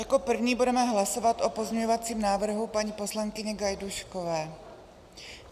Jako první budeme hlasovat o pozměňovacím návrhu paní poslankyně Gajdůškové.